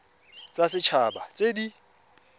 tsa set haba tse di